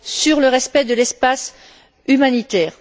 sur le respect de l'espace humanitaire.